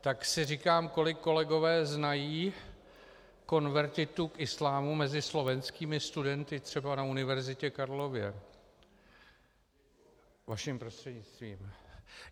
Tak si říkám, kolik kolegové znají konvertitů k islámu mezi slovenskými studenty třeba na Univerzitě Karlově, vaším prostřednictvím.